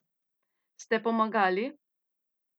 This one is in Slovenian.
Ste pomagali?